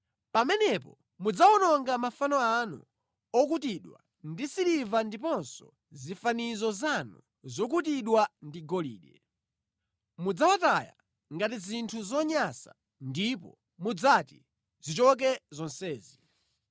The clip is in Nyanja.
Pamenepo mudzawononga mafano anu okutidwa ndi siliva ndiponso zifanizo zanu zokutidwa ndi golide; mudzawataya ngati zinthu zonyansa ndipo mudzati, “Zichoke zonsezi!”